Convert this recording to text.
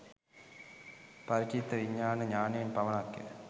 පරිචිත්ත විජානණ ඤානයෙන් පමණක්ය.